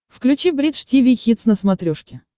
включи бридж тиви хитс на смотрешке